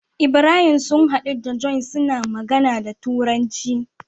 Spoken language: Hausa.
Ibrahim sun hadu da john suna magAna da turanci